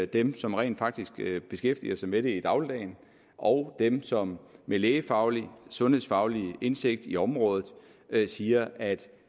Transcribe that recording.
dem som rent faktisk beskæftiger sig med det i dagligdagen og dem som med lægefaglig sundhedsfaglig indsigt i området siger at